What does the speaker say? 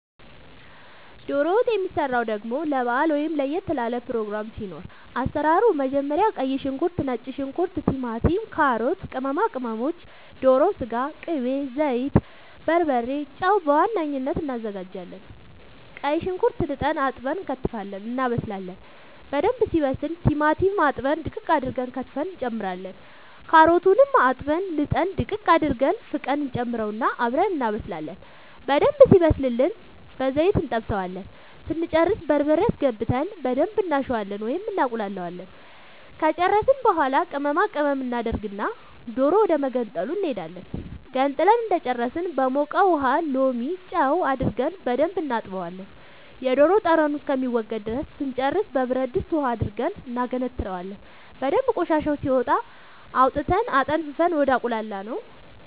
ዶሮ ወጥ የሚሰራው ደሞ ለባአል ወይም ለየት ላለ ፕሮግራም ሲኖር አሰራሩ መጀመሪያ ቀይ ሽንኩርት ነጭ ሽንኩርት ቲማቲም ካሮት ቅመማ ቅመሞች ዶሮ ስጋ ቅቤ ዘይት በርበሬ ጨው በዋነኝነት አናዘጋጃለን ቀይ ሽንኩርት ልጠን አጥበን እንከትፋለን እናበስላለን በደንብ ሲበስል ቲማቲም አጥበን ድቅቅ አርገን ከትፈን እንጨምራለን ካሮቱንም አጥበን ልጠን ድቅቅ አርገን ፍቀን እንጨምረውና አብረን እናበስላለን በደንብ ሲበስልልን በዘይት እንጠብሰዋለን ስንጨርስ በርበሬ አስገብተን በደንብ እናሸዋለን ወይም እናቁላለዋለን ከጨረስን በኃላ ቅመማ ቅመም እናደርግና ዶሮ ወደመገንጠሉ እንሄዳለን ገንጥለን እንደጨረስን በሞቀ ውሃ ሎሚ ጨው አርገን በደንብ እናጥበዋለን የዶሮ ጠረኑ እስከሚወገድ ድረስ ስንጨርስ በብረድስት ውሃ አድርገን እናገነትረዋለን በደንብ ቆሻሻው ሲወጣ አውጥተን አጠንፍፈን ወደ አቁላላነው